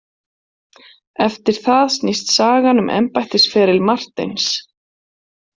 Eftir það snýst sagan um embættisferil Marteins.